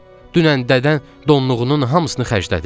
Dünən dədən donluğunun hamısını xərclədi.